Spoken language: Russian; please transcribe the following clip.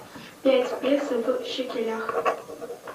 пять песо в шекелях